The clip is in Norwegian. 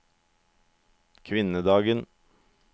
kvinnedagen